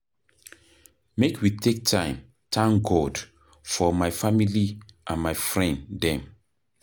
Make we take time thank God for my family and my friend dem.